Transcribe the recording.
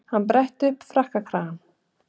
Hann bretti upp frakkakragann.